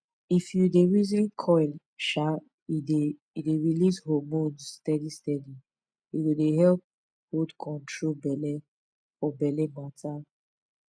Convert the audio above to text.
if u dey reason coil um e dey dey release hormones steady steady e go dey help hold control belle for belle matter